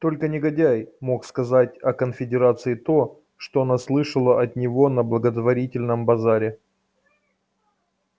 только негодяй мог сказать о конфедерации то что она слышала от него на благотворительном базаре